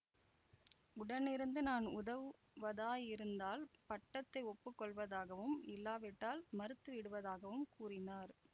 உடனிருந்து நான் உதவுவதாயிருந்தால் பட்டத்தை ஒப்பு கொள்வதாகவும் இல்லாவிட்டால் மறுத்துவிடுவதாகவும் கூறினார்